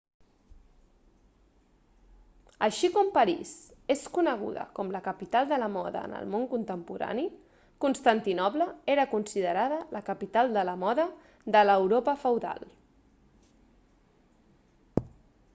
així com parís és coneguda com la capital de la moda en el món contemporani constantinoble era considerada la capital de la moda de l'europa feudal